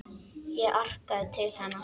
Ég arkaði til hennar.